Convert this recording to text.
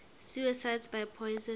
suicides by poison